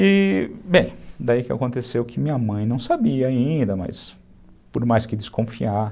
E, bem, daí que aconteceu que minha mãe não sabia ainda, mas por mais que desconfia